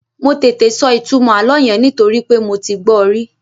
Mo tètè sọ ìtumọ̀ àlọ́ yẹn nítorí pé mo ti gbọ́ ọ rí